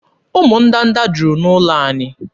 Ụmụ ndanda juru n'ụlọ anyị.